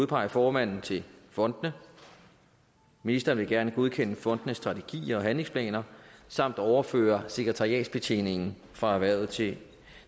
udpege formanden til fondene ministeren vil gerne godkende fondenes strategier og handlingsplaner samt overføre sekretariatsbetjeningen fra erhvervet til